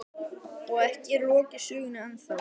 Og ekki er lokið sögunni ennþá.